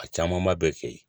A camanba bɛ kɛ yen